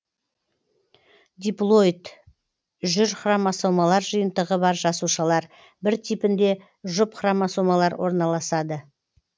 диплоид жүр хромосомалар жиынтығы бар жасушалар бір типінде жұп хромосомалар орналасады